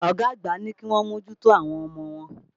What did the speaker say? Ọ̀gá àgbà ní kíwọ́n mòjùtò àwọn ọmọ wọn.